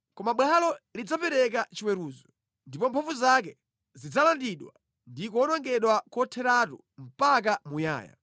“ ‘Koma bwalo lidzapereka chiweruzo, ndipo mphamvu zake zidzalandidwa ndi kuwonongedwa kotheratu mpaka muyaya.